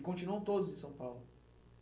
E continuam todos em São Paulo?